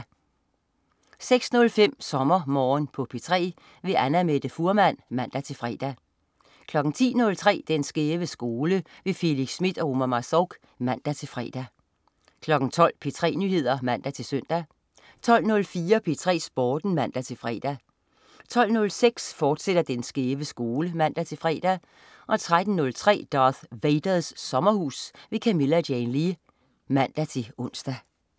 06.05 SommerMorgen på P3. Annamette Fuhrmann (man-fre) 10.03 Den skæve skole. Felix Smith og Omar Marzouk (man-fre) 12.00 P3 Nyheder (man-søn) 12.04 P3 Sporten (man-fre) 12.06 Den skæve skole, fortsat (man-fre) 13.03 Darth Vaders Sommerhus. Camilla Jane Lea (man-ons)